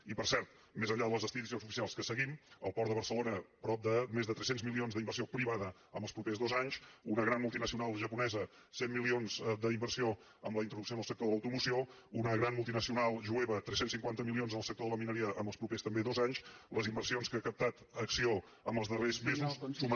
i per cert més enllà de les estadístiques oficials que seguim el port de barcelona prop de més de tres cents milions d’inversió privada els propers dos anys una gran multinacional japonesa cent milions d’inversió amb la introducció en el sector de l’automoció una gran multi nacional jueva tres cents i cinquanta milions en el sector de la mineria els propers també dos anys les inversions que ha captat acció els darrers mesos sumen